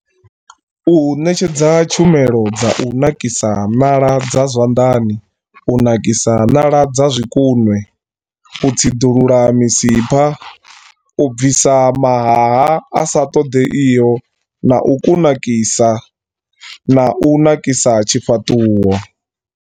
U ṋetshedza tshumelo dza u nakisa ṋala dza zwanḓani, u nakisa ṋala dza zwikunwe, u tsiḓulula misipha, u bvisa mahaha a sa ṱoḓeiho na u kunakisa na u nakisa tshifhaṱuwo.